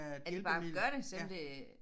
At de bare gør det selvom det